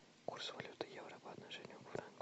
курс валюты евро по отношению к франку